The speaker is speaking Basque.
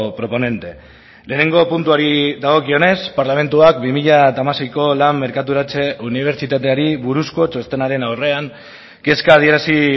proponente lehenengo puntuari dagokionez parlamentuak bi mila hamaseiko lan merkaturatze unibertsitateari buruzko txostenaren aurrean kezka adierazi